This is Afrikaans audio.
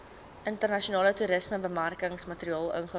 internasionale toerismebemarkingsmateriaal invul